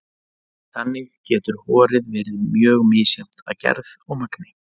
Þannig getur horið verið mjög misjafnt að gerð og magni.